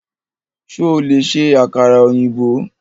Ṣo lè ṣe àkàrà ọ̀yìnbó?